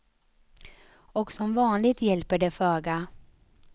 Och som vanligt hjälper det föga.